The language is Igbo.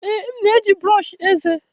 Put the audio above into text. Ee, m na-eji brọsh eze.